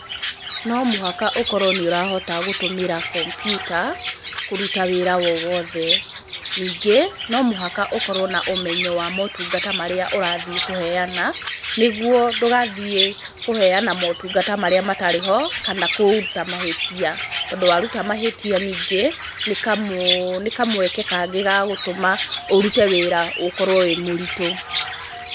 No mũhaka ũkorwo nĩ ũrahota gũtũmĩra kompiuta kũruta wĩra wowothe. Ningĩ, no mũhaka ũkorwo na ũmenyo wa motungata marĩa ũrathiĩ kũheana, nĩ guo ndũgathiĩ kũheana motungata marĩa matarĩ ho kana kũruta mahĩtia, tondũ wa ruta mahĩtia ningĩ nĩ kamũeke kangĩ ga gũtũma ũrute wĩra ũkorwo wĩ mũritũ.